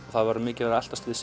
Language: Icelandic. það var mikið verið að eltast við